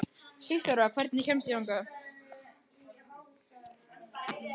Sigþóra, hvernig kemst ég þangað?